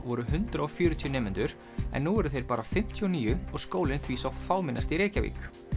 voru hundrað og fjörutíu nemendur en nú eru þeir bara fimmtíu og níu og skólinn því sá fámennasti í Reykjavík